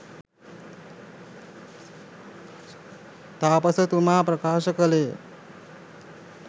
තාපසතුමා ප්‍රකාශ කළේ ය.